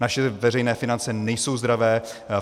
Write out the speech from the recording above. Naše veřejné finance nejsou zdravé.